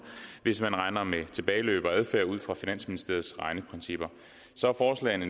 hvis man regner med tilbageløb og adfærd ud fra finansministeriets egne principper så er forslagene